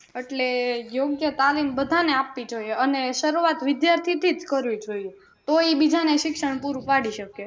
એટલે યોગ્ય તાલીમ બધાં ને આપવી જોઈએ અને શરૂવાત વિદ્યાર્થી થી જ કરવી જોઈએ તો એ બીજા ને શિક્ષણ પૂરું પડી શકે